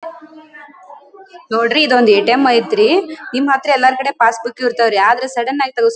ನೋಡ್ರಿ ಇದು ಒಂದು ಏಟಿಎಂ ಐತ್ರಿ ನಿಮ್ಹತ್ರ ಎಲ್ಲರಕಡೆ ಪಾಸ್ ಬುಕ್ ಇರ್ತಾವೆ ರೀ ಆದ್ರೆ ಸಡನ್ ಆಗಿ ತಗಸ್--